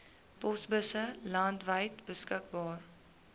posbusse landwyd beskikbaar